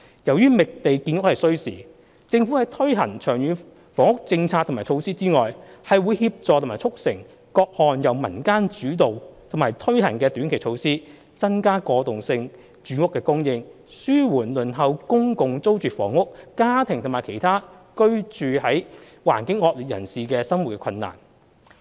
由於覓地建屋需時，政府在推行長遠房屋政策和措施以外，會協助和促成各項由民間主導和推行的短期措施，增加過渡性住屋供應，紓緩輪候公共租住房屋家庭和其他居住環境惡劣人士的生活困難。